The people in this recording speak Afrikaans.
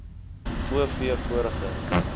o v vorige